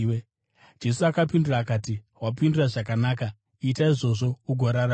Jesu akapindura akati, “Wapindura zvakanaka. Ita izvozvo ugorarama.”